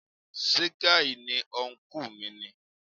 Ṣé gay ni ọnkú mi ni?